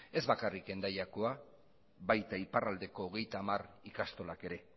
ez bakarrik hendaiako baita iparraldeko hogeita hamar ikastolak ere